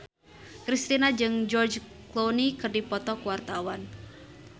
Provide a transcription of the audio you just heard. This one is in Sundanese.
Kristina jeung George Clooney keur dipoto ku wartawan